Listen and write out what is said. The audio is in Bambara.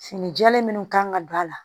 Fini jalen minnu kan ka don a la